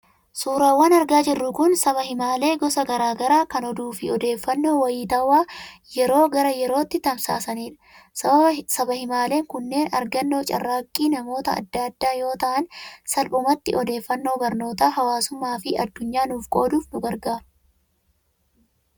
Suuraawwan argaa jirru kun, Sabaa himaalee gosa garaa garaa, kan oduu fi odeeffannoo wayitaawaa yeroo gara yerootti tamsaasanidha. Sabaa himaaleen kunneen argannoo carraaqqii namoota adda addaa yoo ta'an, salphumatti odeeffannoo barnootaa, hawaasummaa fi addunyaa nuuf qooduuf nu gargaaru.